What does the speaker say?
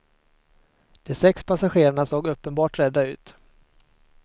De sex passagerarna såg uppenbart rädda ut.